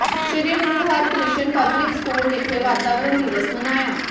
ਸ੍ਰੀ Guru Harkrishan public school ਵਿਖੇ ਵਾਤਾਵਰਨ ਦਿਵਸ ਮਨਾਇਆ